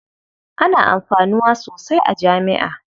Ana amfanuwa sosai a jami'a.